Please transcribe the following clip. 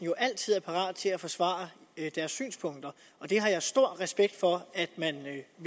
jo altid er parat til at forsvare deres synspunkter og det har jeg stor respekt for at man